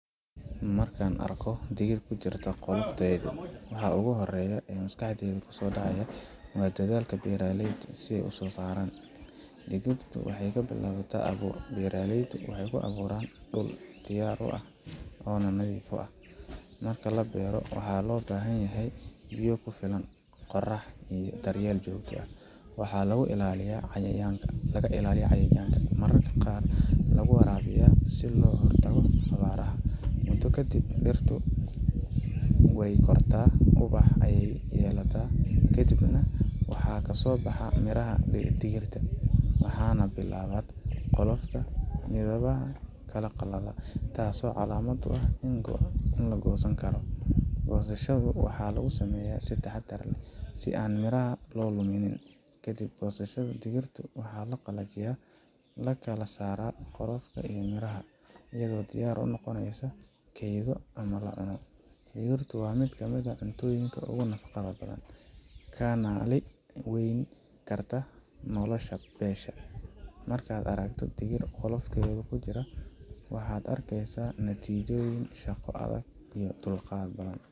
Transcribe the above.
Marka aan arko digir ku jirta qolofteedu, waxa ugu horreeya ee maskaxdayda ku soo dhaca waa dadaalka beeraleyda iyo sida ay u soo saaraan. Digirtu waxay ka bilaabataa abuur beeraleydu waxay ku beeraan dhul diyaar ah oo nadiif ah. Marka la beero, waxaa loo baahan yahay biyo ku filan, qorax, iyo daryeel joogto ah. Waxaa lagu ilaaliyaa cayayaanka, mararka qaarna lagu waraabiyaa si looga hortago abaaraha. Muddo kadib, dhirtu way kortaa oo ubax ayay yeelataa, ka dibna waxaa ka soo baxa miraha digirta. waxaana bislaato, qolofka midhaha ayaa qallala, taasoo calaamad u ah in la goosan karo. Goosashada waxaa lagu sameeyaa si taxaddar leh, si aan miraha u lumin. Ka dib goosashada, digirta waxaa la qalajiyaa, la kala saaraa qolofka iyo miraha, iyadoo diyaar u noqota in la kaydiyo ama la cuno. Digirtu waa mid ka mid ah cuntooyinka ugu nafaqada badan, kanaalin weynna ka qaata nolosha beesha. Markaad aragto digir qolofkoodii ku jira, waxaad arkaysaa natiijada shaqo adag iyo dulqaad badan.